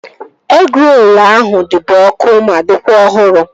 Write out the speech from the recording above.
Egịrolu ahụ dịbu ọkụ ma dịkwa ọhụrụ